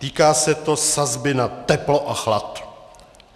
Týká se to sazby na teplo a chlad.